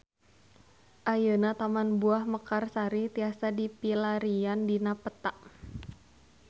Ayeuna Taman Buah Mekarsari tiasa dipilarian dina peta